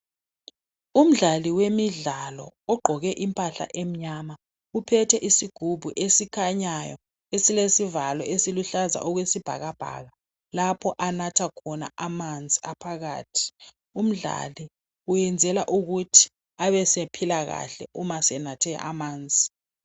Umdlali wemidlalo oqgoke impahla emnyama uphethe isigubhu esikhanyayo esilesivalo esiluhlaza okwesibhakabhaka lapho anatha khona amanzi aphakathi. Umdlali uyenzela ukuthi abesephila kahle uma senathe amanzi.